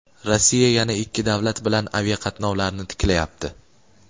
Rossiya yana ikki davlat bilan aviaqatnovlarni tiklayapti.